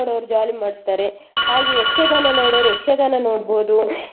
Jolly ಮಾಡ್ತಾರೆ ಹಾಗೆ ಯಕ್ಷಗಾನ ನೋಡುವವರು ಯಕ್ಷಗಾನ ನೋಡ್ಬಹುದು .